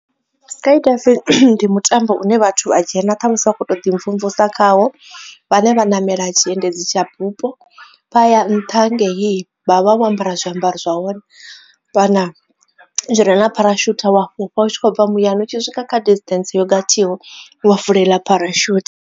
Skydiving ndi mutambo une vhathu a dzhena ṱhamusi vha kho to ḓi mvumvusa khawo vhane vha namela tshiendedzi tsha bupo vha ya nṱha hangei vhavha vho ambara zwiambaro zwa hone kana zwi re na pharashothu wa vha u tshi khobva muyani u tshi swika kha distance yogathiho wa vulela dzi pharashutha.